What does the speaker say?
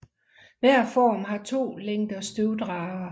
Hver form har to længder støvdragere